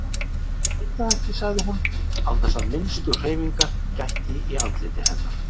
Ég veit það ekki, sagði hún án þess að minnstu hreyfingar gætti í andliti hennar.